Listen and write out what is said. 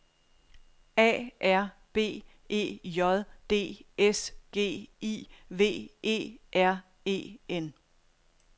A R B E J D S G I V E R E N